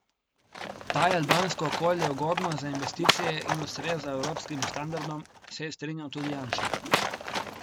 Da je albansko okolje ugodno za investicije in ustreza evropskim standardom, se je strinjal tudi Janša.